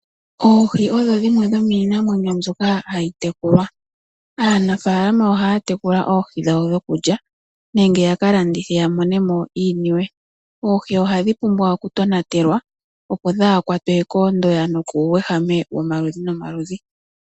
Oohi odho dhimwe dhomiinamwenyo mbyoka hayi tekulwa . Aanafaalama ohaya tekula oohi dhawo dhokulya nenge yakalandithe yamonemo iiniwe. Oohi ohadhi pumbwa oku tonatelwa opo kadhi kwatwe koondoya nokuuuyehame womaludhi nomaludhi.